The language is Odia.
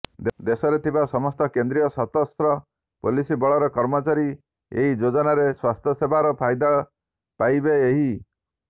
ଦେଶରେ ଥିବା ସମସ୍ତ କେନ୍ଦ୍ରୀୟ ସଶସ୍ତ୍ର ପୋଲିସ ବଳର କର୍ମଚାରୀ ଏହି ଯୋଜନାରେ ସ୍ୱାସ୍ଥ୍ୟସେବାର ଫାଇଦା ପାଇବେ ଏହି